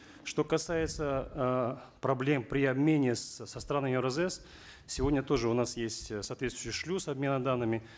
что касается э проблем при обмене с со странами евразэс сегодня тоже у нас есть э соответствующий шлюз обмена данными